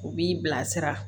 U b'i bilasira